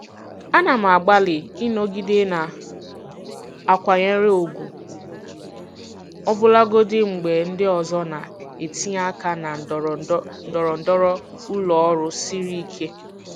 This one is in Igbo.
Ana m agbalị ịnọgide na-akwanyere ùgwù ọbụlagodi mgbe ndị ọzọ na-etinye aka na ndọrọndọrọ ụlọ ọrụ siri ike.